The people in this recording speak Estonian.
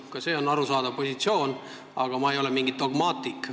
Ka see on arusaadav positsioon, aga ma ei ole mingi dogmaatik.